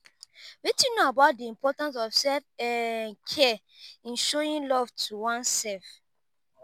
wetin you know about di importance of self um care in showing love to oneself?